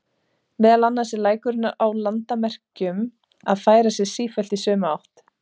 Meðal annars er lækurinn á landamerkjum að færa sig sífellt í sömu átt.